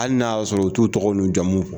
Hali n'a y'a sɔrɔ u t'u tɔgɔ n'u jamuw fɔ